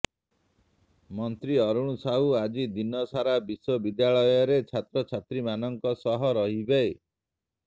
ମନ୍ତ୍ରୀ ଅରୁଣ ସାହୁ ଆଜି ଦିନ ସାରା ବିଶ୍ବ ବିଦ୍ୟାଳୟରେ ଛାତ୍ରଛାତ୍ରୀମାନଙ୍କ ସହ ରହିବେ